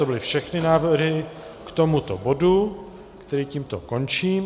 To byly všechny návrhy k tomuto bodu, který tímto končím.